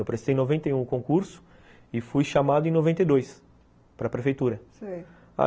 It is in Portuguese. Eu prestei em noventa e um o concurso e fui chamado em noventa e dois para a prefeitura, sei.